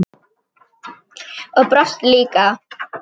Og brosti líka.